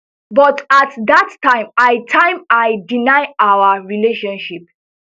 but at dat time i time i deny our relationship